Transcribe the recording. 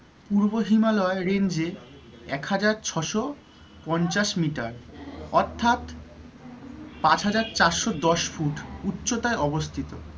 পূর্ব হিমালয়ের range এ এক হাজার ছশো পঞ্চাশ meter অর্থাৎ পাঁচ হাজার চারশো দশ ফুট উচ্চতায় অবস্থিত।